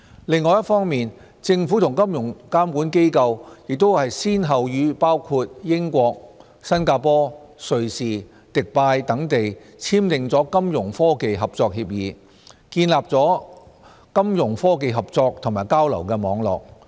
另一方面，政府和金融監管機構亦先後與包括英國、新加坡、瑞士、迪拜等地簽訂了金融科技合作協議，建立起金融科技合作和交流的網絡。